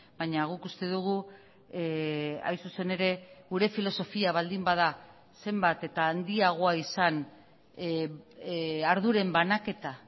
baina guk uste dugu hain zuzen ere gure filosofia baldin bada zenbat eta handiagoa izan arduren banaketa